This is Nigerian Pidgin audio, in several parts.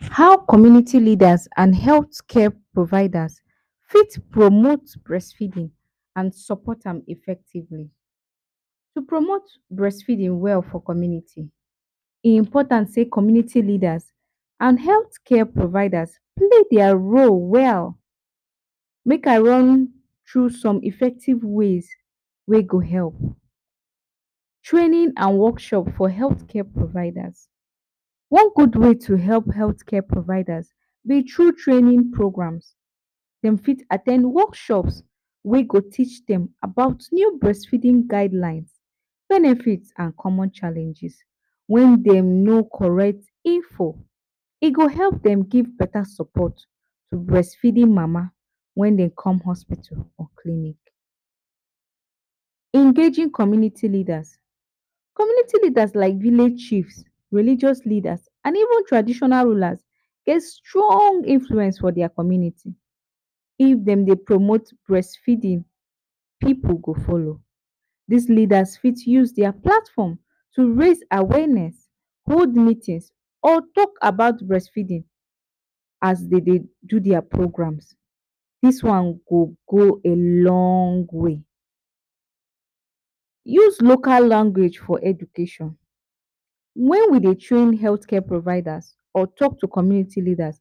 How community leaders and health care providers fit promote breast feeding and support am effectively, to promote breast feeding well for community, e important say community leaders and healthcare providers play their role well, make I run tru some effective ways wey go help, training and workshop for healthcare providers, one good way to help healthcare providers b thru training programs dem fit at ten d workshops wey go teach dem about breast feeding guidelines benefits and common challenges, wen dem no correct info e go help dem give beta support to breastfeeding mama wen dem come hospitals or clinics. Engaging community leaders, community leaders like village chiefs, religious leaders and even traditional leaders get strong influence for their community if dem Dey promote breast feeding pipu go follow, dis leaders for use their platform to raise awareness, hold meetings or talk about breast feeding as dem Dey do their program, dis one go go a long way. Use local language for education, wen we Dey train healthcare providers or talk to community leaders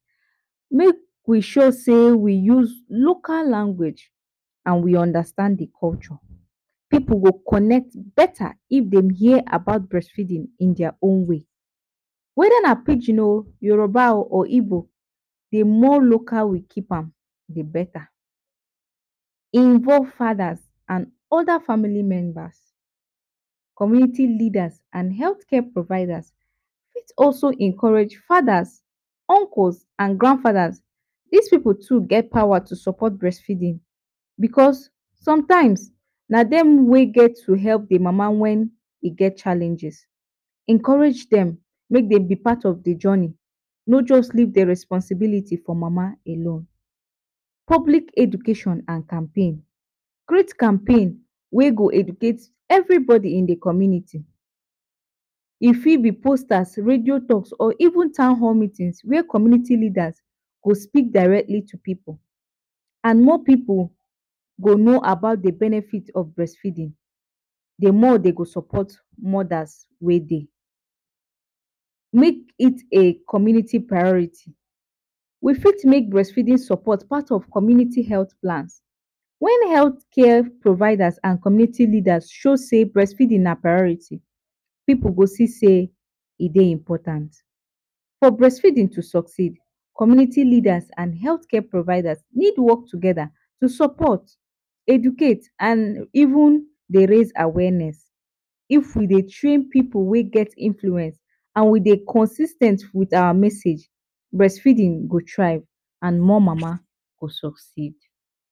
make we sure sey we use local language, and we understand d culture, pipu go connect beta if dem hear about breast feeding in their own way, weda nw pidgin oh, Yoruba or Igbo, d more local we keep an d beta. Involve fadas and oda family member, community leaders and healthcare providers for also encourage fadas, uncles and grandfadas, dis pipu too get power to to support breastfeeding because sometimes na dem wey get to help d mama wen e get challenges, encourage dem make dem b part of d journey, no just leave d responsibility for mama alone, public education and Champaign, create Champaign wey go educate everybody for d community, e fit b posters radio talk or even town hall meetings, wey community leaders go speak directly to pipu, and mor pipu go no about d benefit of breast feeding, d more dem go support mothers wey dey. Make it a community priority, we fit make breastfeeding support part of community health plans, wen healthcare providers and community leaders show say breastfeeding na priority pipu go see sey e dey important. For breastfeeding to succeed community leaders and healthcare providers need work togeda to support educate and even dey raise awareness, if we dey train pipu wey get influence and we dey consis ten t wit awa message breastfeeding go try and more mama go succeed.